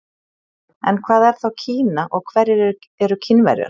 En hvað er þá Kína og hverjir eru Kínverjar?